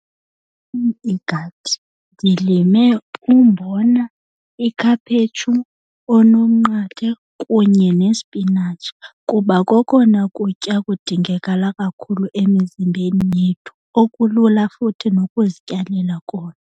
igadi ndilime umbona, ikhaphetshu oonomnqathe kunye nesipinatshi, kuba kokona kutya kudingekala kakhulu emizimbeni yethu okulula futhi nokuzityalela kona.